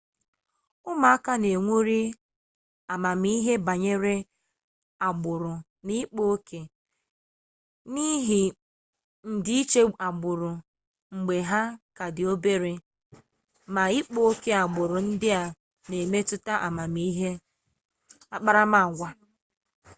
ụmụaka na-ewuli amamihe banyere agbụrụ na ịkpa oke n'ihi ndịiche agbụrụ mgbe ha ka dị obere ma ịkpa oke agbụrụ ndị a na-emetụta akparamaagwa